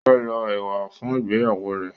o fẹ lo ewa fún ìgbéyàwó rẹ